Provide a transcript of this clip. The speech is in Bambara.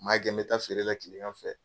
N b'a kɛ n bɛ taa feere la kile gan fɛ.